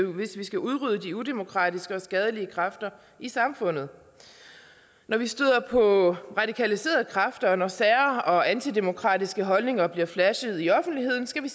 hvis vi skal udrydde de udemokratiske og skadelige kræfter i samfundet når vi støder på radikaliserede kræfter og når sære og antidemokratiske holdninger bliver flashet i offentligheden skal vi